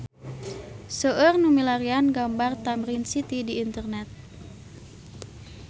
Seueur nu milarian gambar Tamrin City di internet